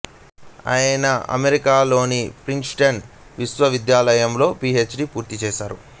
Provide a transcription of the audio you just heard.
ఆయన అమెరికాలోని ప్రిన్సెటన్ విశ్వవిద్యాలయంలో పి హెచ్ డి పూర్తిచేసారు